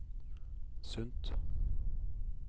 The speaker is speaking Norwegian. Sundt